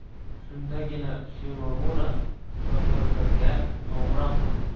Shundagina Shimomura FQBga qo‘ng‘iroq qildi.